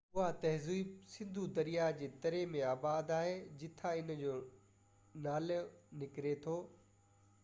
اها تهذيب سنڌو درياه جي تري ۾ آباد آهي جتان ان جو نالي نڪري ٿو